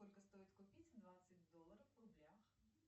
сколько стоит купить двадцать долларов в рублях